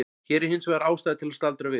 Hér er hins vegar ástæða til að staldra við.